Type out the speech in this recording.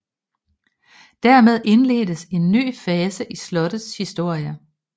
Dermed indledtes en ny fase i slottets historie